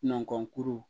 Nɔnɔkɔni